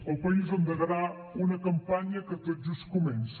el país endegarà una campanya que tot just comença